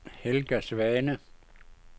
Helga Svane